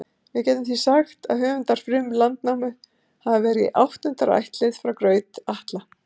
Við getum því sagt að höfundar Frum-Landnámu hafi verið í áttunda ættlið frá Graut-Atla.